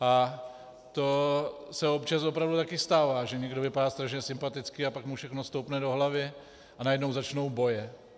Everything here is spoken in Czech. A to se občas opravdu taky stává, že někdo vypadá strašně sympaticky, a pak mu všechno stoupne do hlavy a najednou začnou boje.